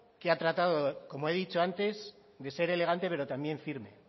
que ha tratado como he dicho antes de ser elegante pero también firme